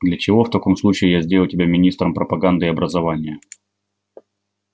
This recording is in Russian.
для чего в таком случае я сделал тебя министром пропаганды и образования